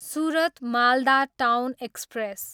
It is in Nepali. Surat, Malda town express